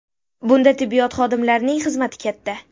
Bunda tibbiyot xodimlarining xizmati katta.